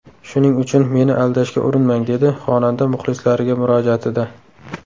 Shuning uchun meni aldashga urinmang”, dedi xonanda muxlislariga murojaatida.